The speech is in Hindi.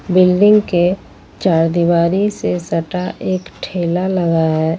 बिल्डिंग के चार दिवारी से सटा एक ठेला लगा है।